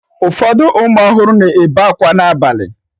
Ụfọdụ ụmụ ọhụrụ na-ebe akwa n'abalị